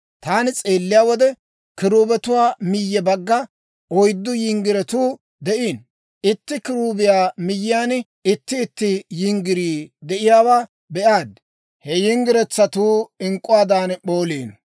Taani s'eelliyaa wode, kiruubetuwaa miyye bagga oyddu yinggirotuu de'iino; itti kiruubiyaa miyyiyaan itti itti yinggirii de'iyaawaa be'aad; he yinggiretsatuu ink'k'uwaadan p'ooliino.